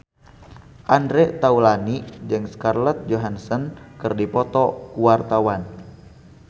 Andre Taulany jeung Scarlett Johansson keur dipoto ku wartawan